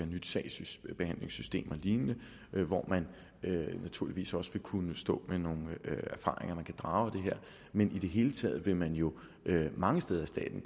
nyt sagsbehandlingssystem og lignende hvor man naturligvis også vil kunne stå med nogle erfaringer man kan drage konklusioner af men i det hele taget vil man jo mange steder i staten